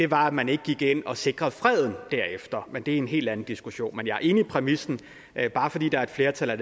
var at man ikke gik ind og sikrede freden derefter men det er en helt anden diskussion men jeg er enig i præmissen at bare fordi der er et flertal er